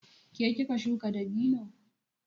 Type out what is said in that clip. Ke kika shuka dabino?